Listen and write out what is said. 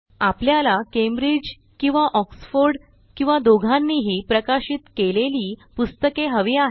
आपल्याला कॅम्ब्रिज किंवा ऑक्सफोर्ड किंवा दोघांनीही प्रकाशित केलेली पुस्तके हवी आहेत